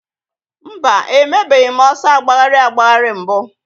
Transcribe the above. Mba, emebeghị m ọsọ agbagharị agbagharị mbụ